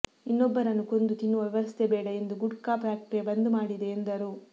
ಇನ್ನೊಬ್ಬರನ್ನು ಕೊಂದು ತಿನ್ನುವ ವ್ಯವಸ್ಥೆ ಬೇಡ ಎಂದು ಗುಟ್ಕಾ ಫ್ಯಾಕ್ಟರಿ ಬಂದ್ ಮಾಡಿದೆ ಎಂದರು